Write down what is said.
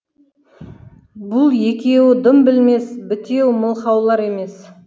бұл екеуі дым білмес бітеу мылқаулар емес